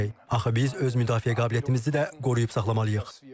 Axı biz öz müdafiə qabiliyyətimizi də qoruyub saxlamalıyıq.